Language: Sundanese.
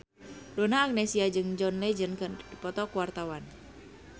Donna Agnesia jeung John Legend keur dipoto ku wartawan